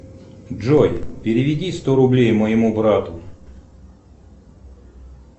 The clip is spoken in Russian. джой переведи сто рублей моему брату